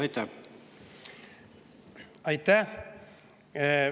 Aitäh!